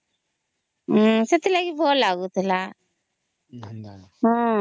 ସେଥିଲାଗି ଭଲ ଲାଗୁଥିଲା